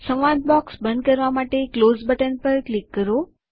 સંવાદ બૉક્સ બંધ કરવા માટે ક્લોઝ બટન પર ક્લિક કરો